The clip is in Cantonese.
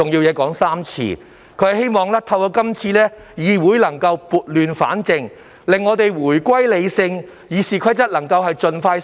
他希望透過今次的修訂，議會能撥亂反正，回歸理性討論。